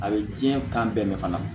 A bɛ diɲɛ kan bɛɛ mɛn fana